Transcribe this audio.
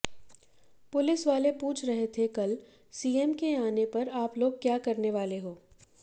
पुलिसवाले पूछ रहे थे कल सीएम के आने पर आप लोग क्या करने वाले हो